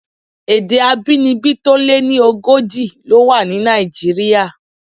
Èdè abínibí tó lé ní ogójì ló wà ní Nàìjíríà.